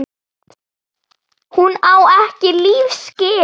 Hún á ekki líf skilið.